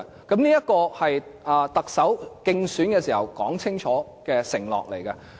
這也是特首競選時清楚作出的承諾。